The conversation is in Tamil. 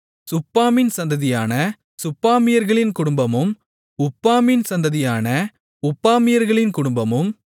சுப்பாமின் சந்ததியான சுப்பாமியர்களின் குடும்பமும் உப்பாமின் சந்ததியான உப்பாமியர்களின் குடும்பமும்